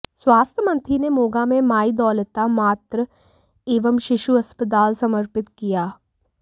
स्वास्थ्य मंत्री ने मोगा में माई दौलता मातृ एवं शिशु अस्पताल समर्पित किया